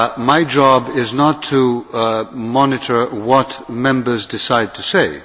My job is not to monitor what Members decide to say.